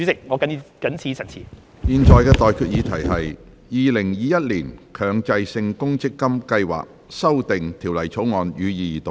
我現在向各位提出的待決議題是：《2021年強制性公積金計劃條例草案》，予以二讀。